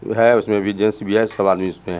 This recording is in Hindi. जो है उसमें भी जैसे भी है सब आदमी इसमें है।